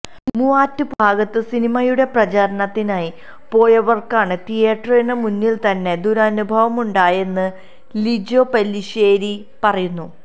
മൂവാറ്റുപുഴ ഭാഗത്ത് സിനിമയുടെ പ്രചാരണത്തിനായി പോയവര്ക്കാണ് തീയേറ്ററിന് മുന്നില്ത്തന്നെ ദുരനുഭവമുണ്ടായതെന്ന് ലിജോ പെല്ലിശ്ശേരി പറയുന്നു